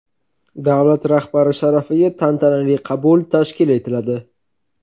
Davlat rahbari sharafiga tantanali qabul tashkil etiladi.